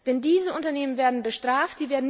Denn diese Unternehmen werden bestraft.